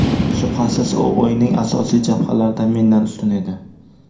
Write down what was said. Shubhasiz, u o‘yinning asosiy jabhalarida mendan ustun edi.